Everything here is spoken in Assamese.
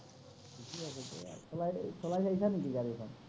ঠিকেই আছে, চলাই, চলাই চাইছা নিকি গাড়ীখন?